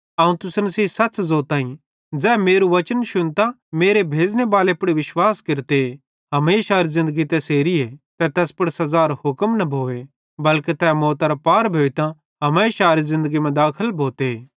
अवं तुसन सेइं सच़ ज़ोताईं ज़ै मेरू वचन शुन्तां मेरे भेज़ने बाले पुड़ विश्वास केरते हमेशारी ज़िन्दगी तैसेरीए ते तैस पुड़ सज़ारो हुक्म न भोए बल्के तै मौतरां पार भोइतां हमेशारे ज़िन्दगी मां दाखल भोते